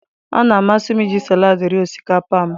Ọ na-amasị m iji salaadị rie osikapa m.